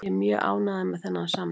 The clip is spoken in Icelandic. Ég er mjög ánægður með þennan samning.